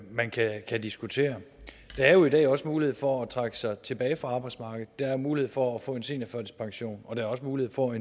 man kan diskutere der er jo i dag også mulighed for at trække sig tilbage fra arbejdsmarkedet der er mulighed for at få en seniorførtidspension og der er også mulighed for